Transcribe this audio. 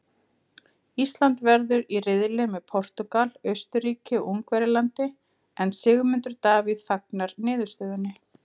Ísland verður í riðli með Portúgal, Austurríki og Ungverjalandi en Sigmundur Davíð fagnar niðurstöðunni.